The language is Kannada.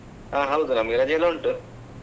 ಹಾ ಹೌದು ನಮಗೆ ರಜೆಯೆಲ್ಲ ಉಂಟು.